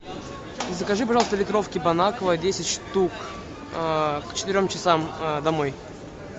закажи пожалуйста литровки бон аква десять штук к четырем часам домой